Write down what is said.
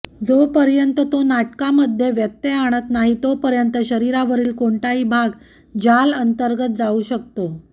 जोपर्यंत तो नाटकामध्ये व्यत्यय आणत नाही तोपर्यंत शरीरावरील कोणताही भाग जाल अंतर्गत जाऊ शकतो